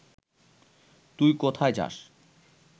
তুই কোথায় যাস